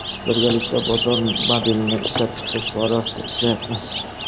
Birgalikda bozor modelini ishlab chiqish borasida ishlayapmiz.